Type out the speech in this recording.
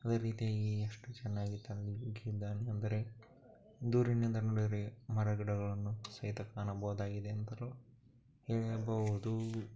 ಅದೇ ರೀತಿಯಾಗಿ ಎಷ್ಟು ಚನ್ನಾಗಿದೆ ಅಂದರೆ ನೋಡಿದರೆ ಮರ ಗಿಡಗಳು